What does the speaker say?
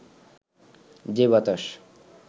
যে বাতাস